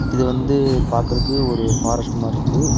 இது வந்து பாக்கறக்கு ஒரு ஃபாரஸ்ட் மாரி இருக்கு.